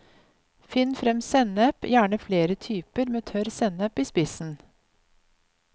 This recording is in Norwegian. Finn frem sennep, gjerne flere typer, med tørr sennep i spissen.